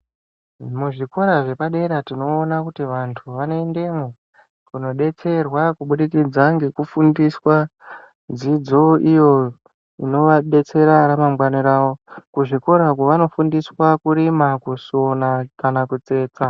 Muzvikora zvepadera vantu vanoendemwo kunondo detserwa kubudikidza ngekufundiswa dzidzo iyo inovadetsera ramangwani ravo kuzvikora uku vanofundiswa kurima , kusona kana kutsetsa .